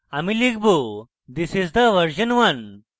আমি লিখব: this is the version one